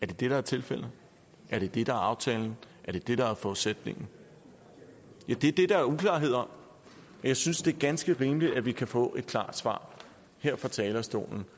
det det der er tilfældet er det det der er aftalen er det det der er forudsætningen ja det er det der er uklarhed om jeg synes det er ganske rimeligt at vi kan få et klart svar her fra talerstolen